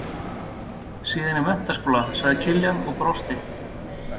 Síðan í menntaskóla, sagði Kiljan og brosti.